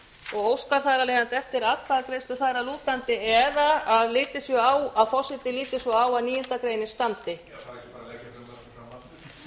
og óskar þar af leiðandi eftir atkvæðagreiðslu þar að lútandi eða að forseti megi líta svo á að níundu grein standi þarf ekki bara